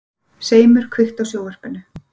Seimur, kveiktu á sjónvarpinu.